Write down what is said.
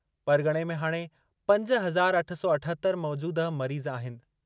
परग॒णे में हाणे पंज हज़ार अठ सौ अठहतरि मौजूदह मरीज़ आहिनि।